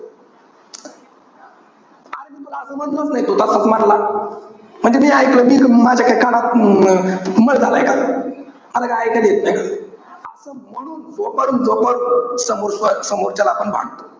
अरे, मी तुला असं म्हणलंच नाही. तू तसंच म्हणला. म्हणजे मी एकल, माझ्या काही कानात मळ झालाय का? मला काय इकायला येत नाही का? असं म्हणून जोपर्यंत समोरच्याला आपण भांडतो.